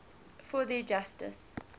for their injustice